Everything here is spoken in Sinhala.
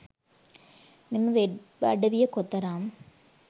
මෙම වෙබ් අඩවිය කොතරම්